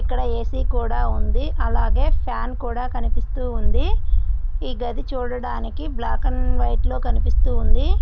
ఇక్కడ ఏసీ కూడా ఇక్కడ ఏసీ కూడా ఉంది అలాగే ఫ్యాన్ కూడా కనిపిస్తూ ఉంది దానికి బ్లాక్ అండ్ వైట్ లో కనిపిస్తూ ఉంది.